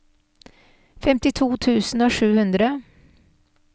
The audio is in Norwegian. femtito tusen og sju hundre